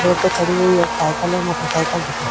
road पे खड़ी हुई एक साइकल और मोटर सायकल दिखाई--